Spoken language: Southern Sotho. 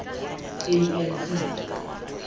anc